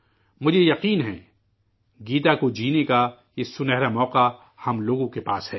مجھے یقین ہے، گیتا کو جینے کا یہ سنہرا موقع ، ہم لوگوں کے پاس ہے